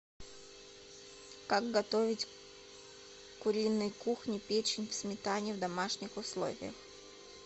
как готовить куриной кухни печень в сметане в домашних условиях